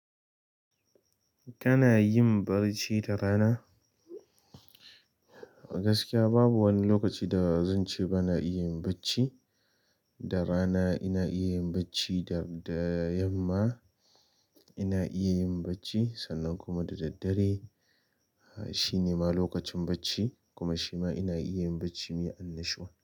Kana yin barci da rana? Gaskiya babu wani lokaci da zan ce bana iya yin bacci. Da rana ina iya yin bacci, da, da yamma ina iya yin bacci sannan kuma da daddare shi ne ma lokacin bacci kuma shi ma ina iya yin bacci mai annashuwa.